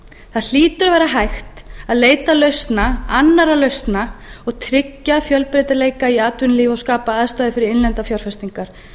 það hlýtur að vera hægt að leita lausna annarra lausna og tryggja fjölbreytileika í atvinnulífi og skapa aðstæður fyrir innlendar fjárfestingar